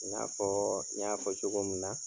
I n'a fɔɔ n y'a fɔ cogo mun na